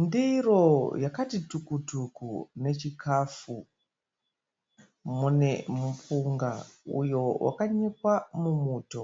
Ndiro yakati tukutuku nechikafu, mune mupunga uyo wakanyikwa mumuto.